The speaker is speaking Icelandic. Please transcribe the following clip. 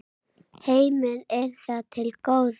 Heimir: Er það til góða?